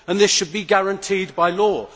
This should be guaranteed by law.